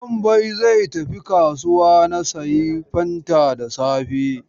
Wambai zai tafi kasuwa na sayi fanta da safe.